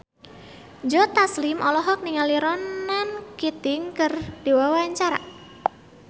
Joe Taslim olohok ningali Ronan Keating keur diwawancara